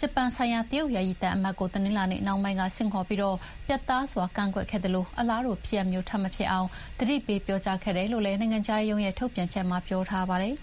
က ဂျပန်ဆိုင်ရာ တရုတ်ယာယီသံအမတ်ကို တနင်္လာနေ့နှောင်းပိုင်းကဆင့်ခေါ်ပြီး ပြတ်သားစွာကန့်ကွက်ခဲ့သလို အလားတူဖြစ်ရပ်မျိုးထပ်မဖြစ်အောင် သတိပေးပြောကြားခဲ့တယ်လို့ နိုင်ငံခြားရေးရုံးရဲ့ထုတ်ပြန်ချက်မှာ ပြောထားပါတယ်